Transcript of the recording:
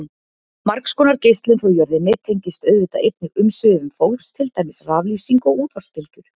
Margs konar geislun frá jörðinni tengist auðvitað einnig umsvifum fólks, til dæmis raflýsing og útvarpsbylgjur.